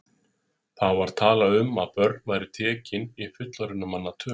Þá var talað um að börn væru tekin í fullorðinna manna tölu.